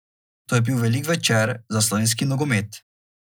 To je bil velik večer za slovenski nogomet.